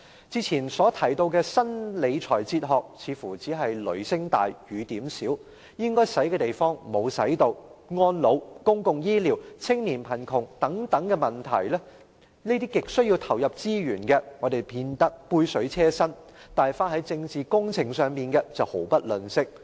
之前提到的新理財哲學似乎只是雷聲大，雨點小，應花的地方沒有花——安老、公共醫療和青年貧窮等亟需投入資源的問題只見杯水車薪，但花在政治工程上的則毫不吝嗇。